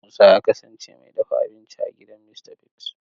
Musa ya kasance mai dafa abinci a gidan Mista Bigs.